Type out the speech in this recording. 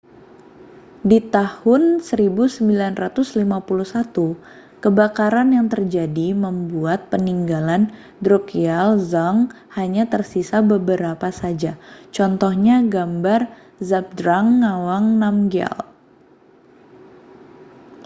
di tahun 1951 kebakaran yang terjadi membuat peninggalan drukgyal dzong hanya tersisa beberapa saja contohnya gambar zhabdrung ngawang namgyal